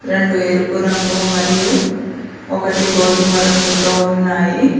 రెండు ఎరుపు రంగు మరియు ఒకటి గోధుమ రంగుతో ఉన్నాయి.